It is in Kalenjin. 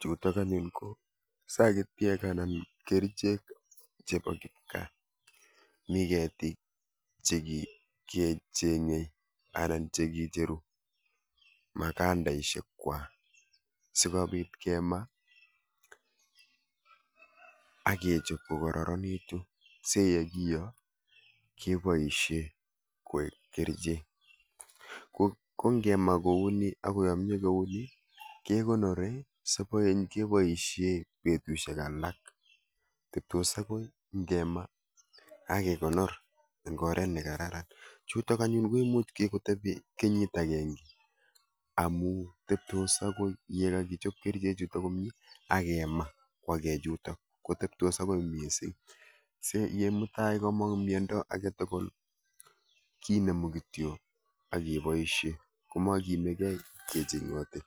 Chuutok anyun ko sagityek anan kerichek chebo kipkaa. mi keetik chegecheme anan chegecheru magandaisiek kwai sikobiit kemaa akechob kokararanitu siyekiyoo keboisie koek kerichek. kongemaa kouni akoyamya kekonori sibaeny keboisie betusiek alak ngemaa akekonor ing'oret nekararan chuutok anyun komuuch kikotebi kenyiit agenge amu tebtos akoi ye kagichob kerichek chuutok komnyie akema kwagei chuutok kotebtos akoi miezi si ye mutai komong' mnyondo agetugul kinemu kityo akeboisie komageimigei kecheng'oti